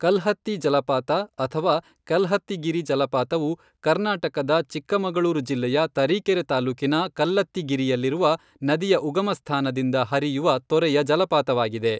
ಕಲ್ಹತ್ತಿ ಜಲಪಾತ ಅಥವಾ ಕಲ್ಹತ್ತಿಗಿರಿ ಜಲಪಾತವು ಕರ್ನಾಟಕದ ಚಿಕ್ಕಮಗಳೂರು ಜಿಲ್ಲೆಯ ತರೀಕೆರೆ ತಾಲ್ಲೂಕಿನ ಕಲ್ಲತ್ತಿಗಿರಿಯಲ್ಲಿರುವ ನದಿಯ ಉಗಮಸ್ಥಾನದಿಂದ ಹರಿಯುವ ತೊರೆಯ ಜಲಪಾತವಾಗಿದೆ.